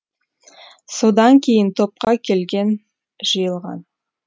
содан кейін топқа келген жиылған